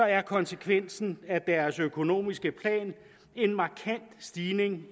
er konsekvensen af deres økonomiske plan en markant stigning